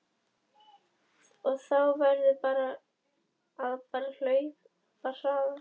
Þá verður þú bara að hlaupa hraðar